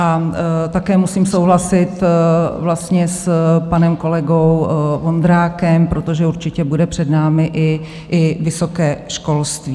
A také musím souhlasit vlastně s panem kolegou Vondrákem, protože určitě bude před námi i vysoké školství.